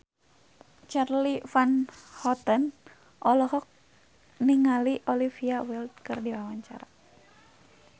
Charly Van Houten olohok ningali Olivia Wilde keur diwawancara